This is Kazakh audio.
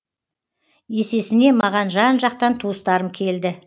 есесіне маған жан жақтан туыстарым келді